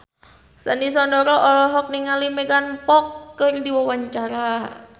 Sandy Sandoro olohok ningali Megan Fox keur diwawancara